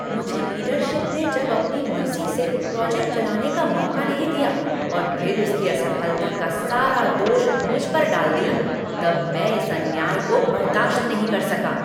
मुझे लीडरशिप ने जब अपनी मर्जी से प्रोजेक्ट चलाने का मौका नहीं दिया और फिर उसकी असफलता का सारा दोष मुझ पर डाल दिया तब मैं इस अन्याय को बर्दाश्त नहीं कर सका।